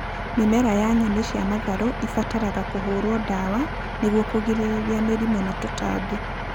Mĩmera ya nyeni cia matharũ ĩbataraga kũhũrwo ndawa nĩguo kũgirĩrĩria mĩrimũ na tũtambi